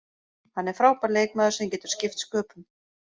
Hann er frábær leikmaður sem getur skipt sköpum.